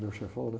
meu chefão, né?